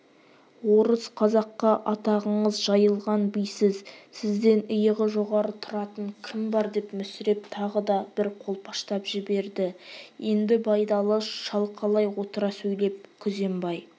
орыс қазаққа атағыңыз жайылған бисіз сізден иығы жоғары тұратын кім бар деп мүсіреп тағы да бір қолпаштап жіберді енді байдалы шалқалай отыра сөйлеп күзембай